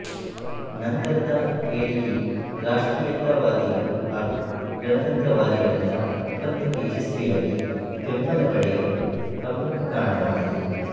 ನಂತರದ ಹೇಳಿಕೆಯು ರಾಷ್ಟ್ರೀಯತಾವಾದಿಗಳು ಹಾಗು ಗಣತಂತ್ರವಾದಿಗಳಿಂದ ಒಪ್ಪಂದಕ್ಕೆ ಯಶಸ್ವಿಯಾಗಿ ಬೆಂಬಲ ಪಡೆಯಲು ಪ್ರಮುಖ ಕಾರಣವಾಯಿತು